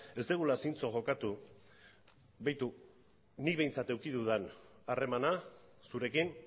ez dugula zintzo jokatu begiratu nik behintzat eduki dudan harremana zurekin